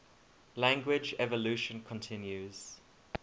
language evolution continues